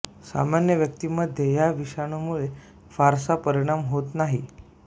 सामान्य व्यक्तीमध्ये या विषाणूमुळे फारसा परिणाम होत नाही